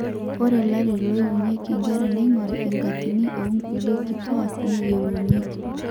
ore larin loiwunyieki inkerra neing'orri enkatini oonkulie kituaak neyiolounyieki